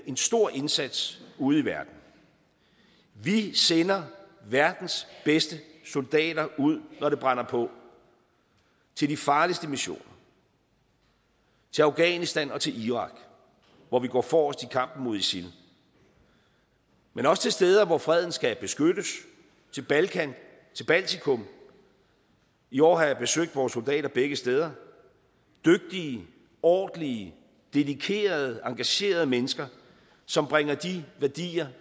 en stor indsats ude i verden vi sender verdens bedste soldater ud når det brænder på til de farligste missioner til afghanistan og til irak hvor vi går forrest i kampen mod isil men også til steder hvor freden skal beskyttes til balkan og til baltikum i år har jeg besøgt vores soldater begge steder dygtige ordentlige dedikerede og engagerede mennesker som bringer de værdier